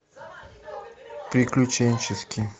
приключенческий